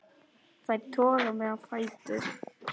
Þær toga mig á fætur.